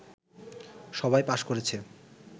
সবাই পাস করেছে